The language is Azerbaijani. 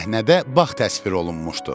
Səhnədə bağ təsvir olunmuşdu.